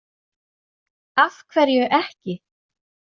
Af hverju ekki?